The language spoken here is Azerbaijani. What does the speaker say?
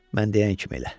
Mən deyən kimi elə.